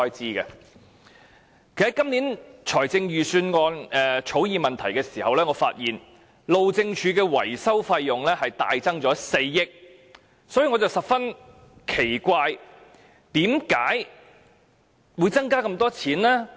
其實，我就今年財政預算案草擬問題時發現，路政署的維修費用大增4億元，所以我感到十分奇怪，為甚麼會增加這麼多費用？